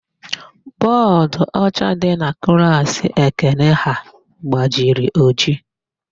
Bọọdụọcha dị na klaasị Ekene ha gbajiri ojii.